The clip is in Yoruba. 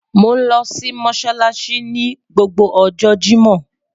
Mo nlo si Mossalassi ni gbogbo ọjọ Jimọ